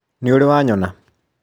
nĩũrĩ wanyona?